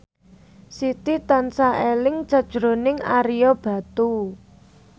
Siti tansah eling sakjroning Ario Batu